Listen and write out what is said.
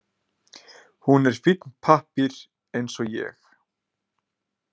Hún er fínn pappír eins og ég.